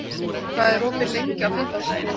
Guðrún, hvað er opið lengi á fimmtudaginn?